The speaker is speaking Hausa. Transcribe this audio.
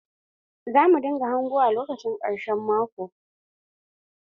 Za mu dinga hangowa lokacin ƙarshen maƙo.